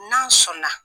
N'an sɔnna